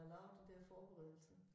Og lavede de der forberedelser